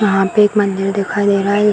यहाँ पे एक मंदिर दिखाई दे रहा है।